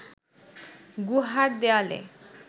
গুহার দেয়ালে